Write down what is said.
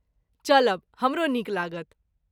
चलब, हमरो नीक लागत।